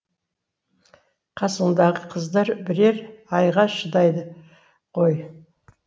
қасыңдағы қыздар бірер айға шыдайды ғой